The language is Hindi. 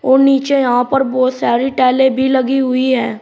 और नीचे यहां पर बहोत सारी टाइलें भी लगी हुई है।